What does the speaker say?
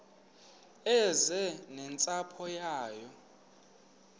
eze nentsapho yayo